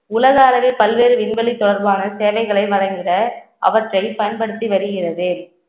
உலக அளவில் பல்வேறு விண்வெளி தொடர்பான சேவைகளை வழங்கிட அவற்றை பயன்படுத்தி வருகிறது